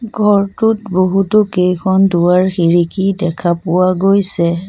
ঘৰটোত বহুতো কেইখন দুৱাৰ খিৰিকী দেখা পোৱা গৈছে।